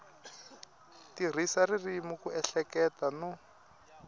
tirhisa ririmi ku ehleketa no